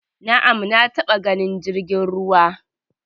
Na'am, na taba ganin jirgin ruwa